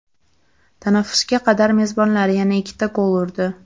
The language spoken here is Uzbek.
Tanaffusga qadar mezbonlar yana ikkita gol urdi.